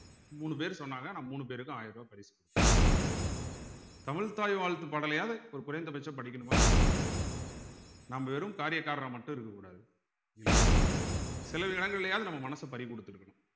மூணு பேர் சொன்னாங்க நான் மூணு பேருக்கும் ஆயிரம் ரூபாய் பரிசு கொடுத்தேன் தமிழ்த்தாய் வாழ்த்து பாடலையாது ஒரு குறைந்தபட்சம் படிக்கணுமா வேண்டாமா நாம் வெறும் காரியக்காரரா மட்டும் இருக்கக் கூடாது இல்லையா சில இடங்கள்லயாவது நம்ம மனச பறிகொடுத்திருக்கணும்